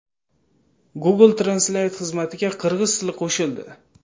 Google Translate xizmatiga qirg‘iz tili qo‘shildi.